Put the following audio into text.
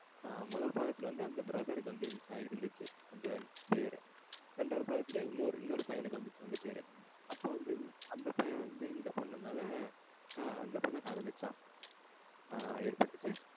முதல் பாகத்துல வந்து அந்த brother க்கு வந்து இருந்துச்சு அந்த பேரு. ரெண்டாவது பாகத்துல இன்னொரு பையனுக்கு வந்துச்சு அந்த பேரு. அப்போ வந்து அந்த பையன் வந்து இந்த பொண்ணு மேல இந்த பொண்ணா காதலிச்சான். ஏற்பட்டுச்சு